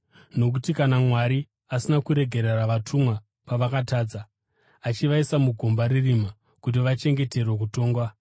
Nokuti kana Mwari asina kuregerera vatumwa pavakatadza, asi akavatumira kugehena, achivaisa mugomba rerima kuti vachengeterwe kutongwa;